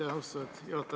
Aitäh, austatud juhataja!